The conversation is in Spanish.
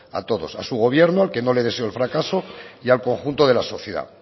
a todos a su gobierno al que no le deseo el fracaso y al conjunto de la sociedad